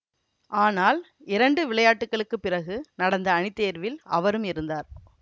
ஆனால் இரண்டு விளையாட்டுகளுக்குப் பிறகு நடந்த அணித்தேர்வில் அவரும் இருந்தார்